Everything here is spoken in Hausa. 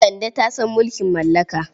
Kande ta san mulkin mallaka.